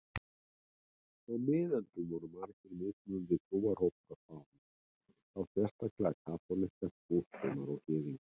Á miðöldum voru margir mismunandi trúarhópar á Spáni, þá sérstaklega kaþólikkar, múslímar og gyðingar.